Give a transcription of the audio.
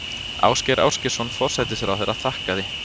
Ásgeir Ásgeirsson forsætisráðherra þakkaði